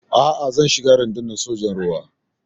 A'a, zan shiga Rundunar Sojan Ruwa.